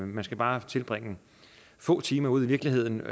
man skal bare tilbringe få timer ude i virkeligheden